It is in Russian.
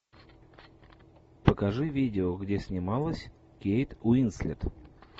покажи видео где снималась кейт уинслет